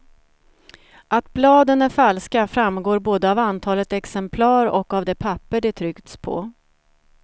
Att bladen är falska framgår både av antalet exemplar och av det papper de tryckts på.